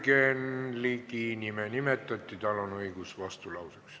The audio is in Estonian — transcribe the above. Jürgen Ligi nime nimetati, tal on õigus vastulauseks.